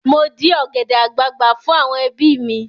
Mo dí ọ̀gẹ̀dẹ̀ àgbagbà fún àwọn ẹbí mi.